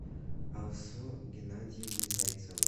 алсу геннадиевной зайцевой